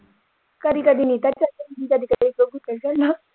ਕਦੀ ਕਦੀ ਨੀਟਾ ਚਲ ਜਾਂਦਾ ਕਦੀ ਕਦੀ ਗੋਲੂ ਚਲ ਜਾਂਦਾ।